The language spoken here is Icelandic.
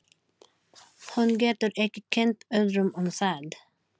Hún getur ekki kennt öðrum um það.